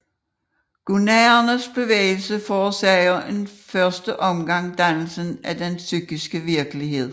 Gunaernes bevægelse forårsager i første omgang dannelsen af den pyskiske virkelighed